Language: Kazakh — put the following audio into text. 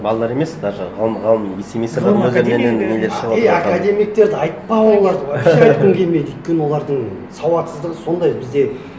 балалар емес даже ғалым вице министрлердің нелер шығыватыр е академиктерді айтпа оларды вообще айтқым келмейді өйткені олардың сауатсыздығы сондай бізде